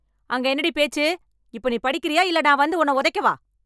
அங்கே என்னடிப் பேச்சு இப்ப நீ படிக்கிறியா இல்ல நான் வந்து உன்ன உதைக்க வா